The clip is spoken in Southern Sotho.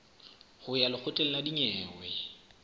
ho ya lekgotleng la dinyewe